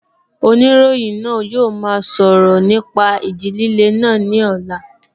Oníròyìn náà yóò máa sọ̀rọ̀ nípa ìjì líle náà ní ọ̀la